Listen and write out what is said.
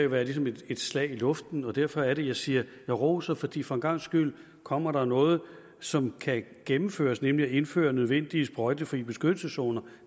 været ligesom et slag i luften derfor er det jeg siger jeg roser fordi der for en gangs skyld kommer noget som kan gennemføres nemlig at indføre nødvendige sprøjtefri beskyttelseszoner